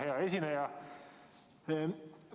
Hea esineja!